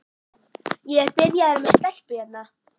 Ég er byrjaður með stelpu hérna.